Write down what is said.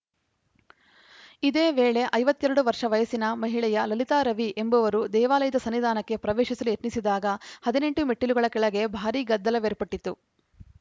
ಇದೇ ವೇಳೆ ಐವತ್ತ್ ಎರಡು ವರ್ಷ ವಯಸ್ಸಿನ ಮಹಿಳೆಯ ಲಲಿತಾ ರವಿ ಎಂಬುವರು ದೇವಾಲಯದ ಸನ್ನಿಧಾನಕ್ಕೆ ಪ್ರವೇಶಿಸಲು ಯತ್ನಿಸಿದಾಗ ಹದಿನೆಂಟು ಮೆಟ್ಟಿಲುಗಳ ಕೆಳಗೆ ಭಾರಿ ಗದ್ದಲವೇರ್ಪಟ್ಟಿತು